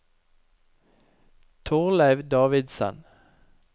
Torleiv Davidsen